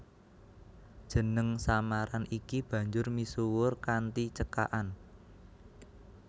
Jeneng samaran iki banjur misuwur kanthi cekakan